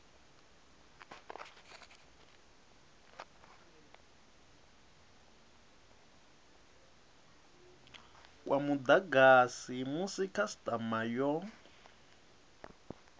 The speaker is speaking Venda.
kwa mudagasi musi khasitama yo